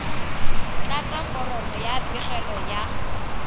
tlatsa foromo ya pegelo ya